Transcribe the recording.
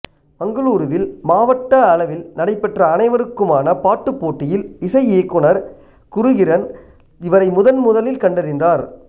மங்களூருவில் மாவட்ட அளவில் நடைபெற்ற அனைவருக்குமான பாட்டுப் போட்டியில் இசை இயக்குனர் குருகிரண் இவரை முதன்முதலில் கண்டறிந்தார்